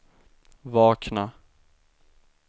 vakna